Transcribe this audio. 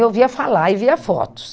Eu ouvia falar e via fotos.